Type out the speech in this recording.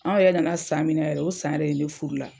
Anw yɛrɛ nana san min na yɛrɛ, o san yɛrɛ de furu la.